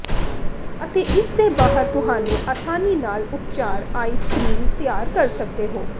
ਅਤੇ ਇਸ ਦੇ ਬਾਹਰ ਤੁਹਾਨੂੰ ਆਸਾਨੀ ਨਾਲ ਉਪਚਾਰ ਆਈਸ ਕਰੀਮ ਤਿਆਰ ਕਰ ਸਕਦੇ ਹੋ